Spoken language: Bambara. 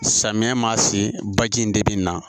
Samiya ma se baji in de bɛ na